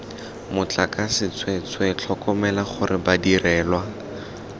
motlakase tsweetswe tlhokomela gore badirelwa